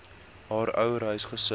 haar ouerhuis gesit